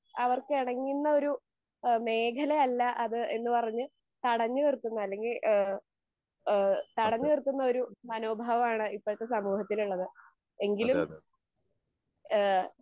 അവർക്ക് എണങ്ങുന്നൊരു എഹ് മേഖലയല്ല അത് എന്ന് പറഞ്ഞ് തടഞ്ഞ് നിർത്തുന്ന അല്ലെങ്കി ഏഹ് ഏഹ് തടഞ്ഞ് നിർത്തുന്നൊരു മനോഭാവാണ് ഇപ്പത്തെ സമൂഹത്തിലുള്ളത് എങ്കിലും ഏഹ്